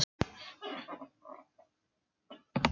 Samþykkti þó að morgni að láta gott heita.